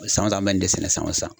San o san an bɛ nin de sɛnɛ san o san.